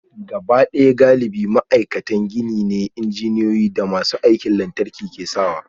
Gabaɗaya galibi ma'aikatan gini ne, injiniyoyi da masu aikin lantarki ke sawa